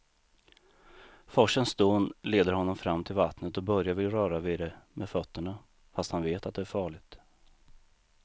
Forsens dån leder honom fram till vattnet och Börje vill röra vid det med fötterna, fast han vet att det är farligt.